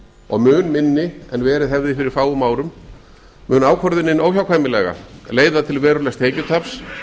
og mun minni en verið hefði fyrir fáum árum mun ákvörðunin óhjákvæmilega leiða til verulegs tekjutaps